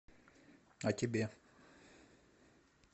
а тебе